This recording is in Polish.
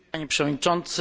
Panie Przewodniczący!